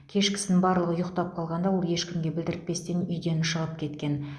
кешкісін барлығы ұйықтап қалғанда ол ешкімге білдіртпестен үйден шығып кеткен